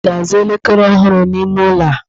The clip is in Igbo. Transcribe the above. Ị ga-azụ elekere ọhụrụ n'ime ụlọ a?